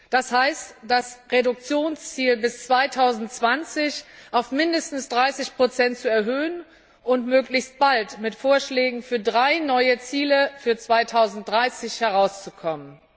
Das heißt, das Reduktionsziel bis 2020 auf mindestens 30 zu erhöhen und möglichst bald mit Vorschlägen für drei neue Ziele für 2030 herauszukommen.